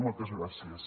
moltes gràcies